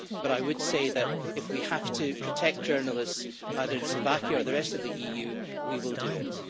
But I would say that, if we have to protect journalists either in Slovakia or the rest of the EU, we will do it.